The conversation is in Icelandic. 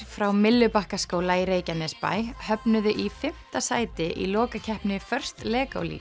frá Myllubakkaskóla í Reykjanesbæ höfnuðu í fimmta sæti í lokakeppni Lego